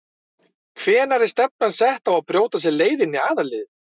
Hvenær er stefnan sett á að brjóta sér leið inn í aðalliðið?